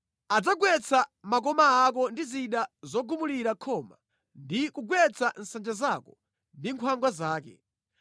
Adzagwetsa makoma ako ndi zida zogumulira khoma ndi kugwetsa nsanja zako ndi nkhwangwa zake.